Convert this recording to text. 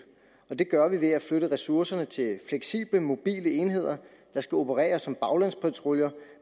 og det gør vi ved at flytte ressourcerne til fleksible mobile enheder der skal operere som baglandspatruljer